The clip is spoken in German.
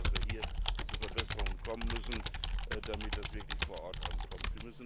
Ich glaube, dass wir hier zu Verbesserungen kommen müssen, damit das Geld wirklich vor Ort ankommt.